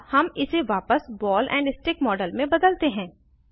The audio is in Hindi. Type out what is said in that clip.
अब हम इसे वापस बॉल एंड स्टिक मॉडल में बदलते हैं